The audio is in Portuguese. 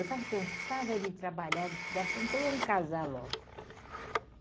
Eu estava cansada de trabalhar, de estudar, falei então vamos casar logo.